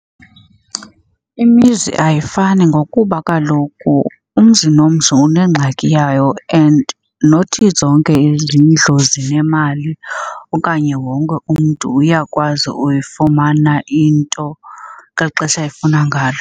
Imizi ayifani ngokuba kaloku umzi nomzi unengxaki yayo and not zonke izindlu zinemali okanye wonke umntu uyakwazi uyifumana into ngeli xesha efuna ngalo.